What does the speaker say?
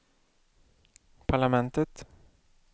parlamentet